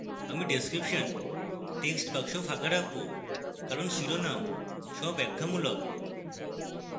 আমি description textbox ফাঁকা রাখবো কারণ শিরোনাম স্বব্যাখ্যামূলক